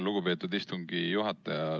Lugupeetud istungi juhataja!